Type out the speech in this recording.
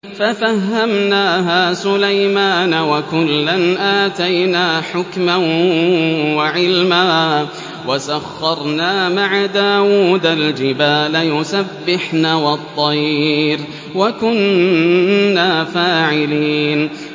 فَفَهَّمْنَاهَا سُلَيْمَانَ ۚ وَكُلًّا آتَيْنَا حُكْمًا وَعِلْمًا ۚ وَسَخَّرْنَا مَعَ دَاوُودَ الْجِبَالَ يُسَبِّحْنَ وَالطَّيْرَ ۚ وَكُنَّا فَاعِلِينَ